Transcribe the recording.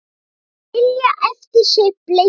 Skilja eftir sig bleytu.